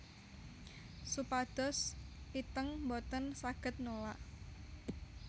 Supados Iteung boten saged nolak